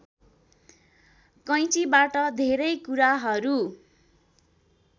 कैचीबाट धेरै कुराहरू